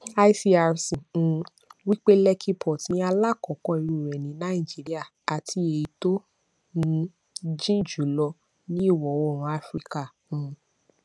icrc um wípé lekki port ní alákọọkọ irú rẹ ní nàìjíríà àti ẹyí tó um jìn jùlọ ní ìwọ oòrùn afirikà um